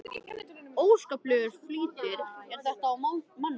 Óskaplegur flýtir er þetta á manninum.